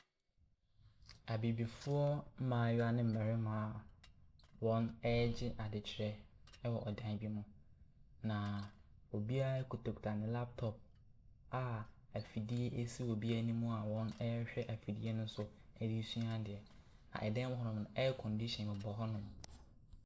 Abibifoɔ mmaayewa ne mmarima a wɔregye adekyerɛ wɔ dan bi mu. Na obiara kitakita ne laptop a afidie si obiara anim a wɔrehwɛ afidie ne so ɛresua ade. Dan ne mu no, air-conditioning bɔ hɔnom.